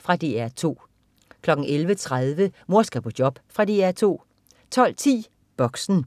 Fra DR 2 11.30 Mor skal på job. Fra DR 2 12.10 Boxen